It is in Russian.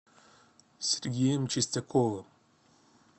сергеем чистяковым